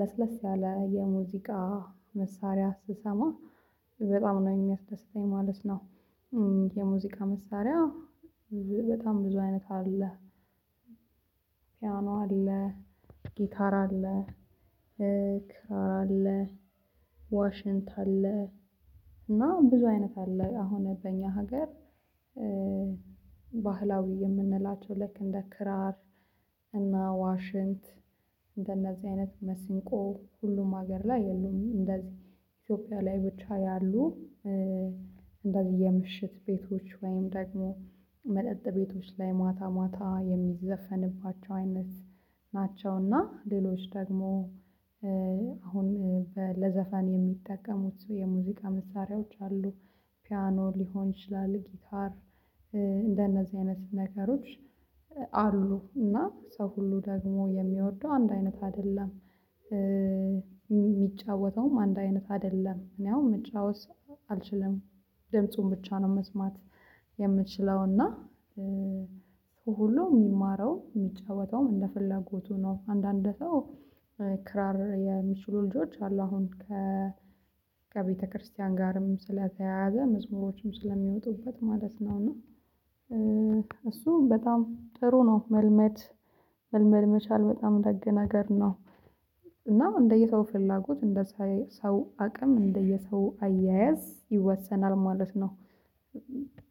ለስለስ ያለ የሙዚቃ መሳሪያ ስሰማ በጣም ነው የሚያስደስተኝ ማለት ነው። የሙዚቃ መሳሪያ በጣም ብዙ አይነት አለ። ፒያኖ አለ፣ ጊታር አለ፣ ክራር አለ፣ ዋሽንት አለ፣ እና ብዙ አይነት አለ። አሁን በእኛ ሀገር ባህላዊ የምንላቸው ልክ እንደ ክራር እና ዋሽንት እንደነዚህ አይነት መስንቆ ሁሉም ሀገር ላይ የሉም። እንደዚህ ኢትዮጵያ ላይ ብቻ ያሉ እንደዚህ የምሽት ቤቶች ወይም ደግሞ መጠጥ ቤቶች ላይ ማታ ማታ የሚዘፈንባቸው አይነት ናቸው። እና ሌሎች ደግሞ አሁን ለዘፈን የሚጠቀሙት የሙዚቃ መሳሪያዎች አሉ። ፒያኖ ሊሆን ይችላል ጊታር እንደነዚህ አይነት ነገሮች አሉ። እና ሰው ሁሉ ደግሞ የሚወደው አንድ አይነት አይደለም። የሚጫወተውም አንድ አይነት አይደለም። እኔ አሁን መጫወት አልችልም። ድምፁን ብቻ ነው መስማት የምችለው። እና ሁሉ የሚማረው የሚጫወተውም እንደ ፍላጎቱ ነው። አንዳንድ ሰው ክራር የሚችሉ ልጆች አሉ። አሁን ከቤተክርስቲያን ጋርም ስለተያያዘ መዝሙሮችም ስለሚወጡበት ማለት ነው። እና እሱ በጣም ጥሩ ነው። መልመድ መልመድ መቻል በጣም ደግ ነገር ነው። እና እንደየሰው ፍላጎት እንደ ሰው አቅም እንደየሰው አያያዝ ይወሰናል ማለት ነው።